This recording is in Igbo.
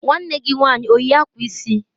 Nwanne gi nwanyị o yi akwa isi?